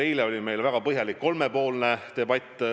Eile oli meil väga põhjalik kolmepoolne debatt.